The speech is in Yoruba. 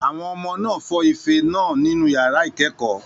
Àwọn ọmọ náà fọ́ ife náà nínú yàrá ìkẹ́kọ̀ọ́